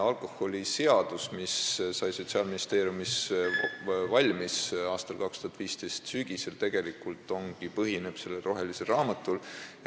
Alkoholiseadus, mis sai Sotsiaalministeeriumis valmis 2015. aasta sügisel, tegelikult põhinebki sellel rohelisel raamatul.